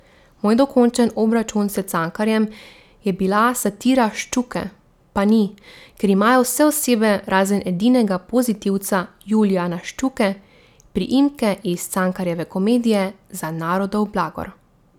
Moj dokončen obračun s Cankarjem je bila satira Ščuke pa ni, kjer imajo vse osebe, razen edinega pozitivca Julijana Ščuke, priimke iz Cankarjeve komedije Za narodov blagor.